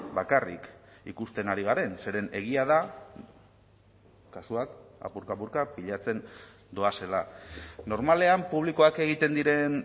bakarrik ikusten ari garen zeren egia da kasuak apurka apurka pilatzen doazela normalean publikoak egiten diren